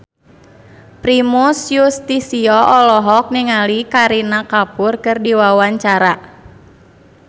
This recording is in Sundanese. Primus Yustisio olohok ningali Kareena Kapoor keur diwawancara